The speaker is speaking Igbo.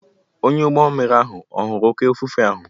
Onye ụgbọ mmiri ahụ ọ̀ hụrụ oké ifufe ahụ?